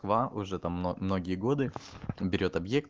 ва уже там мно многие годы он берет объект